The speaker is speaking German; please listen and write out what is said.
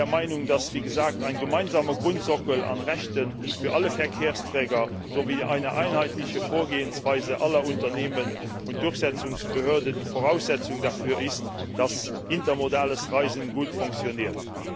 Ich bin der Meinung, dass wie gesagt ein gemeinsamer Grundsockel an Rechten für alle Verkehrsträger sowie eine einheitliche Vorgehensweise aller Unternehmen und Durchsetzungsbehörden die Voraussetzungen dafür sind, dass intermodales Reisen gut funktioniert.